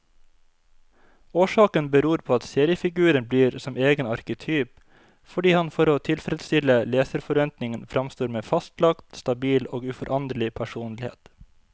Årsaken beror på at seriefiguren blir som egen arketyp, fordi han for å tilfredstille leserforventningen framstår med fastlagt, stabil og uforanderlig personlighet.